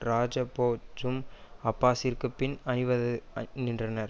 ரஜபோச்சும் அப்பாஸிற்கு பின் அணிவது நின்றனர்